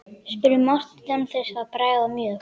spurði Marteinn án þess að bregða mjög.